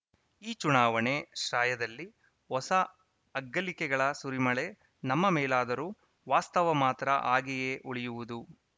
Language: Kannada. ಈ ಚುನಾವಣೆ ಶ್ರಾಯದಲ್ಲಿ ಹೊಸ ಅಗ್ಗಳಿಕೆಗಳ ಸುರಿಮಳೆ ನಮ್ಮ ಮೇಲಾದರೂ ವಾಸ್ತವ ಮಾತ್ರ ಹಾಗೆಯೇ ಉಳಿಯುವುದು